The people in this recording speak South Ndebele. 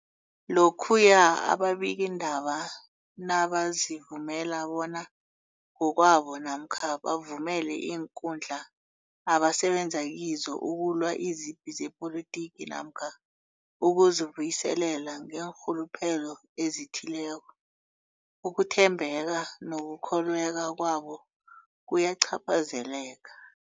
Lokhuya ababikiindaba nabazivumela bona ngokwabo namkha bavumele iinkundla abasebenza kizo ukulwa izipi zepolitiki namkha ukuzi buyiselela ngeenrhuluphelo ezithileko, ukuthembeka nokukholweka kwabo kuyacaphazeleka.